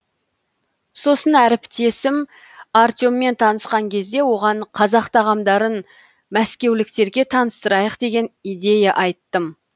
сосын әріптесім артеммен танысқан кезде оған қазақ тағамдарын мәскеуліктерге таныстырайық деген идея айттым